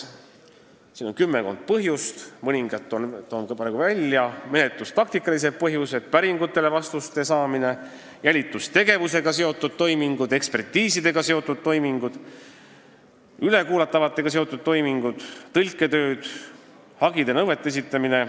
Siin on kümmekond põhjust, toon mõningad neist ka välja: menetlustaktikalised põhjused, päringutele vastuste saamine, jälitustegevusega seotud toimingud, ekpertiisidega seotud toimingud, ülekuulatavatega seotud toimingud, tõlketööd, hagide ja nõuete esitamine.